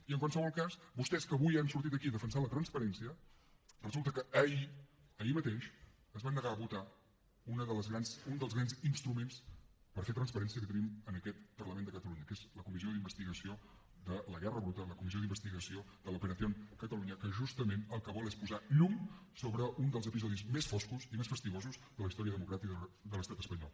i en qualsevol cas vostès que avui han sortit aquí a defensar la transparència resulta que ahir ahir mateix es van negar a votar un dels grans instruments per fer transparència que tenim en aquest parlament de catalunya que és la comissió d’investigació de la guerra bruta la comissió d’investigació de l’que vol és posar llum sobre un dels episodis més foscos i més fastigosos de la història democràtica de l’estat espanyol